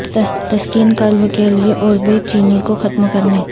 تسکین قلب کے لئے اوربے چینی کو ختم کرنے